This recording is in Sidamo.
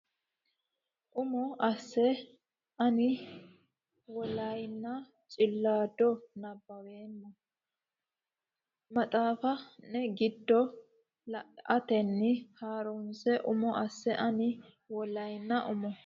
Umo asse ani Waaliyanna Cilaada nabbaweemma o nena maxaafi ne giddo la atenni ha runse Umo asse ani Waaliyanna Umo.